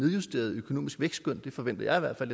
justeret økonomisk vækstskøn det forventer jeg i hvert fald